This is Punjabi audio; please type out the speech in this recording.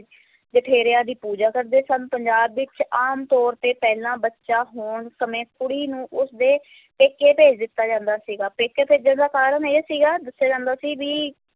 ਜਠੇਰਿਆਂ ਦੀ ਪੂਜਾ ਕਰਦੇ ਸਨ, ਪੰਜਾਬ ਵਿੱਚ ਆਮ ਤੌਰ ਤੇ ਪਹਿਲਾ ਬੱਚਾ ਹੋਣ ਸਮੇਂ ਕੁੜੀ ਨੂੰ ਉਸ ਦੇ ਪੇਕੇ ਭੇਜ ਦਿੱਤਾ ਜਾਂਦਾ ਸੀਗਾ, ਪੇਕੇ ਭੇਜਣ ਦਾ ਕਾਰਨ ਇਹ ਸੀਗਾ, ਦੱਸਿਆ ਜਾਂਦਾ ਸੀ ਵੀ